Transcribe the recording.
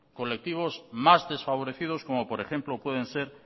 colectivos más desfavorecidos como por ejemplo pueden ser